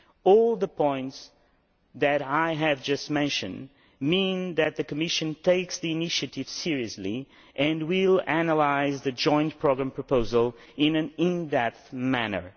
All the points that I have just mentioned mean that the Commission takes the initiative seriously and will analyse the joint programme proposal in an in depth manner.